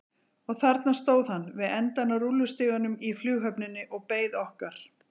Og þarna stóð hann við endann á rúllustiganum í flughöfninni og beið okkar.